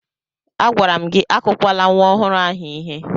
Agwara m gị akụkwala nwa ọhụrụ ahụ ihe!